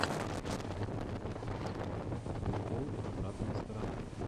прикол обратная сторона